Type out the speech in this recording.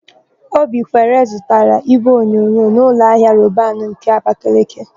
Obikwere zụtara ígwéonyonyo n' ụlọahia Robanu nke Abakeleke.